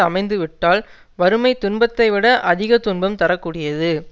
அமைந்துவிட்டால் வறுமை துன்பத்தை விட அதிக துன்பம் தர கூடியது